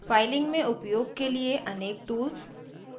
filing में उपयोग के लिए अनेक टूल्स